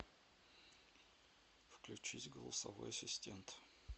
включись голосовой ассистент